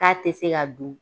K'a te se ka dun